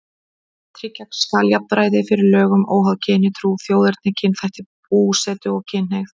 Tryggja skal jafnræði fyrir lögum óháð kyni, trú, þjóðerni, kynþætti, búsetu og kynhneigð.